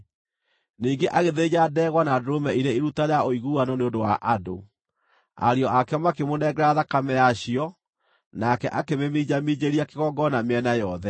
Ningĩ agĩthĩnja ndegwa na ndũrũme irĩ iruta rĩa ũiguano nĩ ũndũ wa andũ. Ariũ ake makĩmũnengera thakame yacio, nake akĩmĩminjaminjĩria kĩgongona mĩena yothe.